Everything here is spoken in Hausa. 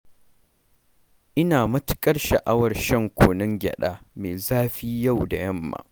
Ina matuƙar sha'awar shan kunun gyaɗa mai zafi yau da yamma.